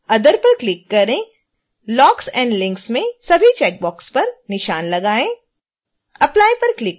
other पर click करें locks and links में सभी चेकबॉक्स पर निशान लगाएँ